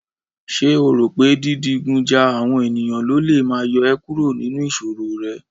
Ṣé o rò pé dídigun ja àwọn ènìyàn lólè máa yọ ẹ́ kúrò nínú ìṣòro rẹ?